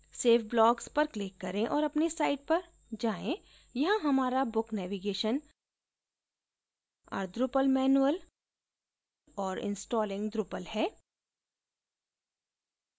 save blocks पर click करें और अपनी site पर जाएँ यहाँ हमारा book navigation our drupal manual और installing drupal है